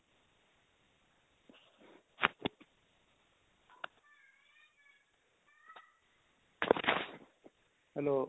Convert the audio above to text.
hello